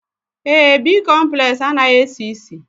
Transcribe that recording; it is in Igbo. Èé, bịkọmplesi anaghị esi ísì.